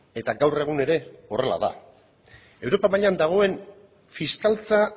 eta gaur egun ere horrela da europa mailan dagoen fiskaltza